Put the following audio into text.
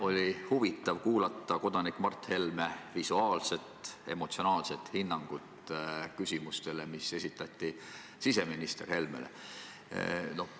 Oli huvitav kuulda kodanik Mart Helme visuaalseltki emotsionaalset vastust küsimustele, mis esitati siseminister Helmele.